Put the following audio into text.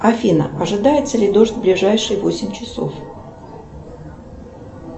афина ожидается ли дождь в ближайшие восемь часов